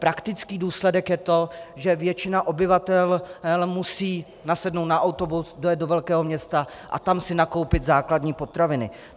Praktický důsledek je to, že většina obyvatel musí nasednout na autobus, dojet do velkého města a tam si nakoupit základní potraviny.